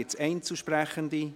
Gibt es Einzelsprechende?